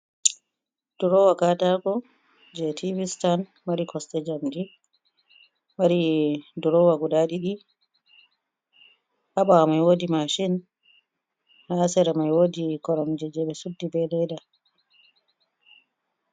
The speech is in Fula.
Ɗurowa, Katako Je Tive Sitan. Mari Cosɗe Jamɗi Mari Ɗurowa Guɗa ɗiɗi Ha, Ɓawo Mai Woɗi Mashin. Ha Sira Mai Woɗi Koromjije Ɓe Suɗɗi Ɓe Le'iɗa.